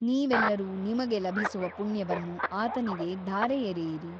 ನೀವೆಲ್ಲರೂ ನಿಮಗೆ ಲಭಿಸುವ ಪುಣ್ಯವನ್ನು ಆತನಿಗೆ ಧಾರೆಯೆರೆಯಿರಿ.